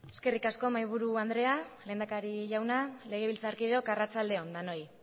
eskerrik asko mahai buru andrea lehendakari jauna legebiltzar kideok arratsalde on denoi